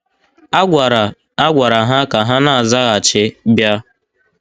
A gwara A gwara ha ka ha na - azaghachi “ bịa. ”